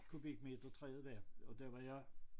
Kubikmeter træet er og der var jeg